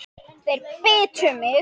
Þeir bitu mig.